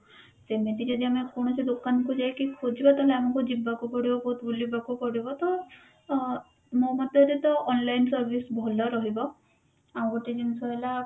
ସେମିତି ଯଦି ଆମେ କୌଣସି ଦୋକାନକୁ ଯାଇକି ଖୋଜିବା ତାହେଲେ ଆମକୁ ଯିବାକୁ ପଡିବ ବହୁତ ବୁଲିବାକୁ ପଡିବ ତ ଅ ମୋ ମତରେ ତ online service ଭଲ ରହିବ ଆଉ ଗୋଟେ ଜିନିଷ ହେଲା